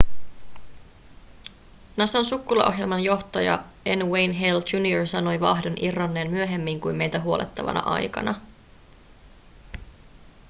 nasan sukkulaohjelman johtaja n wayne hale jr sanoi vaahdon irronneen myöhemmin kuin meitä huolettavana aikana